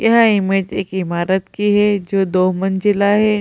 यह इमेज एक इमारत की है जो दो मंजिला है।